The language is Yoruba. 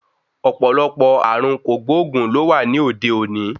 Ọ̀pọ̀lọpọ̀ ààrùn kògbóògùn ló wà ní òde òní.